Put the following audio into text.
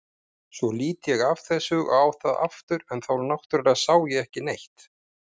Svo lít ég af þessu og á það aftur en þá náttúrlega sá ég ekkert.